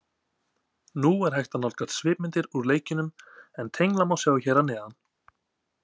Nú er hægt að nálgast svipmyndir úr leikjunum en tengla má sjá hér að neðan.